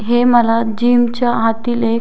हे मला जीम च्या आतील एक--